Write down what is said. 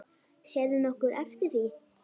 Sérðu nokkuð eftir því?